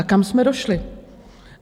A kam jsme došli?